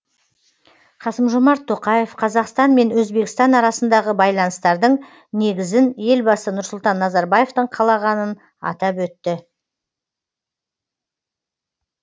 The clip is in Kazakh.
қасым жомарт тоқаев қазақстан мен өзбекстан арасындағы байланыстардың негізін елбасы нұрсұлтан назарбаевтың қалағанын атап өтті